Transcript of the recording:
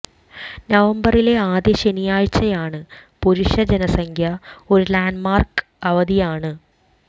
നവംബറിലെ ആദ്യ ശനിയാഴ്ചയാണ് പുരുഷ ജനസംഖ്യ ഒരു ലാൻഡ്മാർക്ക് അവധിയാണ്